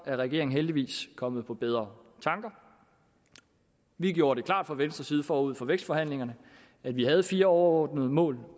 er regeringen heldigvis kommet på bedre tanker vi gjorde det klart fra venstres side forud for vækstforhandlingerne at vi havde fire overordnede mål